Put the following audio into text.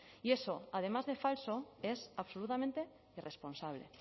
y eso además de falso es absolutamente irresponsable